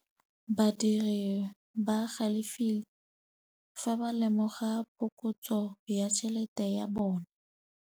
Badiri ba galefile fa ba lemoga phokotsô ya tšhelête ya bone.